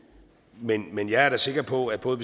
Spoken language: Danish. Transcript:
men men jeg er da sikker på at både